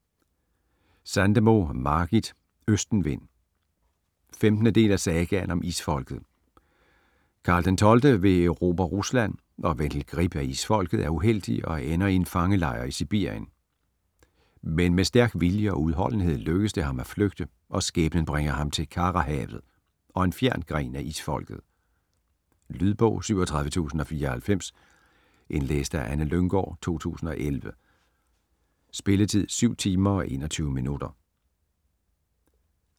Sandemo, Margit: Østenvind 15. del af Sagaen om Isfolket. Karl XII vil erobre Rusland, og Vendel Grip af Isfolket er uheldig og ender i en fangelejr i Sibirien. Men med stærk vilje og udholdenhed lykkes det ham at flygte, og skæbnen bringer ham til Karahavet - og en fjern gren af Isfolket. Lydbog 37094 Indlæst af Anne Lynggaard, 2011. Spilletid: 7 timer, 21 minutter.